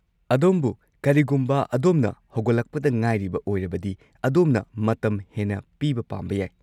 ꯑꯗꯨꯕꯨ ꯀꯔꯤꯒꯨꯝꯕ ꯑꯗꯣꯝꯅ ꯍꯧꯒꯠꯂꯛꯄꯗ ꯉꯥꯏꯔꯤꯕ ꯑꯣꯏꯔꯕꯗꯤ, ꯑꯗꯣꯝꯕꯨ ꯃꯇꯝ ꯍꯦꯟꯅ ꯄꯤꯕ ꯄꯥꯝꯕ ꯌꯥꯏ꯫